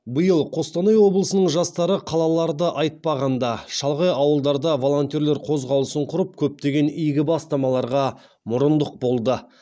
биыл қостанай облысының жастары қалаларды айтпағанда шалғай ауылдарда волонтерлер қозғалысын құрып көптеген игі бастамаларға мұрындық болды